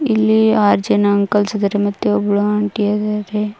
ಇಲ್ಲಿ ಆರ್ ಜನ ಅಂಕಲ್ಸ್ ಇದ್ದಾರೆ ಮತ್ತು ಒಬ್ಬಳು ಆಂಟಿ ಇದಾರೆ.